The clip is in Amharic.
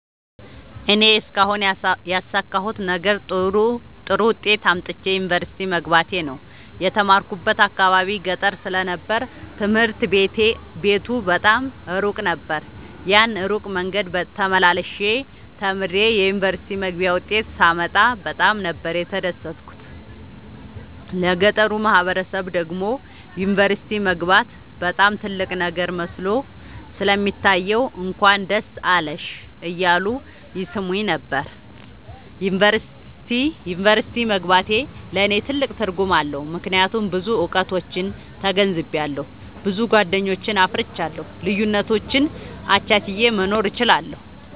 እኔ እስካሁን ያሣካሁት ነገር ጥሩ ዉጤት አምጥቼ ዩኒቨርሲቲ መግባቴ ነዉ። የተማርኩበት አካባቢ ገጠር ስለ ነበር ትምህርት ቤቱ በጣም እሩቅ ነበር። ያን እሩቅ መንገድ ተመላልሸ ተምሬ የዩኒቨርሲቲ መግቢያ ዉጤት ሳመጣ በጣም ነበር የተደሠትኩት ለገጠሩ ማህበረሠብ ደግሞ ዩኒቨርሲቲ መግባት በጣም ትልቅ ነገር መስሎ ስለሚታየዉ እንኳን ደስ አለሽ እያሉ ይሥሙኝ ነበር። ዩኒቨርሢቲ መግባቴ ለኔ ትልቅ ትርጉም አለዉ። ምክያቱም ብዙ እዉቀቶችን ተገንዝቤአለሁ። ብዙ ጎደኞችን አፍርቻለሁ። ልዩነቶችን አቻችየ መኖር እችላለሁ።